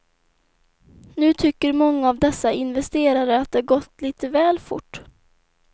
Nu tycker många av dessa investerare att det gått lite väl fort.